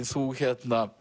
þú